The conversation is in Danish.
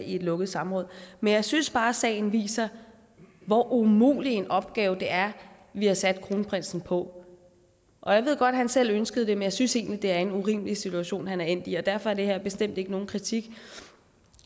et lukket samråd men jeg synes bare at sagen viser hvor umulig en opgave det er vi har sat kronprinsen på jeg ved godt at han selv ønskede det men jeg synes egentlig at det er en urimelig situation han er endt i derfor er det her bestemt ikke nogen kritik